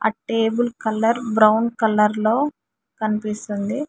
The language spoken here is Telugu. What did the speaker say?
ఆ టేబుల్ కలర్ బ్రౌన్ కలర్ లో కనిపిస్తుంది.